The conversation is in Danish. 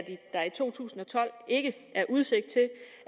der i to tusind og tolv ikke er udsigt til